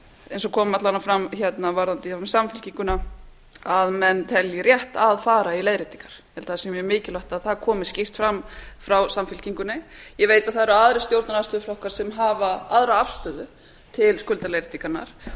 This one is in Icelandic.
eins og kom alla vega fram varðandi samfylkinguna að menn telji rétt að fara í leiðréttingar ég held að það sé mjög mikilvægt að það komi skýrt fram frá samfylkingunni ég veit að það eru aðrir stjórnarandstöðuflokkar sem hafa aðra afstöðu til skuldaleiðréttingarinnar og